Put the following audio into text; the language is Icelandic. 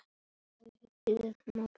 Páfanum til ama.